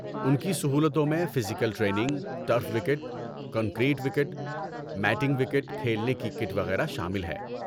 ان کی سہولتوں میں physical training, turf wicket, concrete wicket, matting wicket, کھیلنے کی کٹ وغیرہ شامل ہے۔